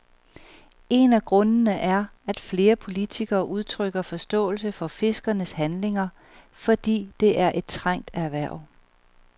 En af grundene er, at flere politikere udtrykker forståelse for fiskernes handlinger, fordi det er et trængt erhverv.